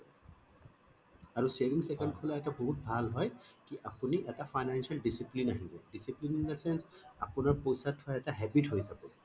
আৰু savings account খোলা এটা বহুত ভাল হয় আপুনি এটা financial discipline আহিব discipline in the sense আপোনাৰ পইছা থোৱা এটা habit হৈ যাব